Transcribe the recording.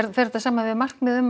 fer þetta saman við markmið um